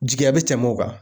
Jigiya be tɛmɛ o kan